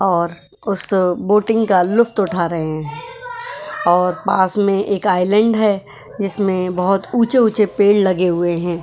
और उस बोटिंग का लुफ्त उठा रहे हैं और पास में एक आईलैंड है जिसमें बहोत ऊँचे ऊँचे पेड़ लगे हुए हैं।